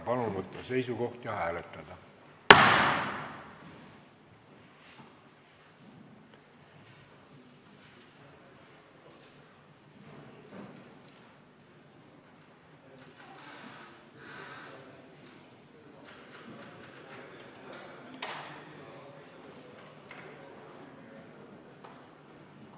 Palun võtta seisukoht ja hääletada!